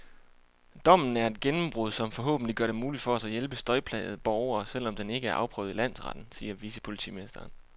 Dommen er et gennembrud, som forhåbentlig gør det muligt for os at hjælpe støjplagede borgere, selv om den ikke er afprøvet i landsretten, siger vicepolitimesteren.